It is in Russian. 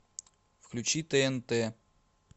включи тнт